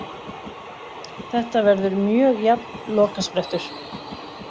Þetta verður mjög jafn lokasprettur.